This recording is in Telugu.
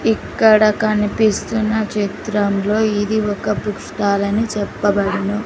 ఇక్కడ కనిపిస్తున్న చిత్రంలో ఇది ఒక బుక్ స్టాల్ అని చెప్పబడును.